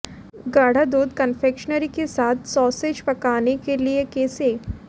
गाढ़ा दूध कन्फेक्शनरी के साथ सॉसेज पकाने के लिए कैसे